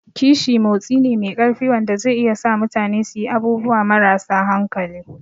Kishi motsi ne mai ƙarfi wanda zai iya sa mutane su yi abubuwa marasa hankali.